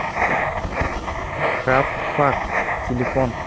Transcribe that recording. крафт пак телефон